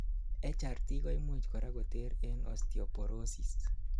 HRT koimuch korak koter en osteoporosis